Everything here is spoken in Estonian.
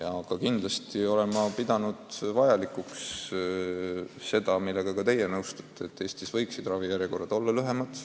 Aga kindlasti olen ma nagu teiegi pidanud vajalikuks seda, et Eestis oleksid ravijärjekorrad lühemad.